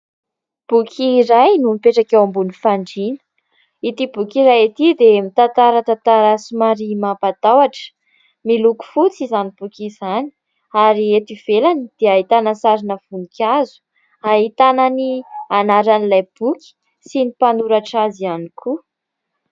Boky iray no mipetraka eo ambony fandriana. Ity boky iray ity mitantara tantara somary mampatahotra, miloko fotsy izany boky izany ary eto ivelany dia ahitana sarina voninkazo, ahitana ny anaran'ilay boky sy ny mpanoratra azy ihany koa.